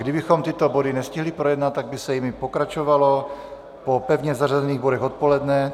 Kdybychom tyto body nestihli projednat, tak by se jimi pokračovalo po pevně zařazených bodech odpoledne.